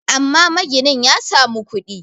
amma maginin ya samu kudi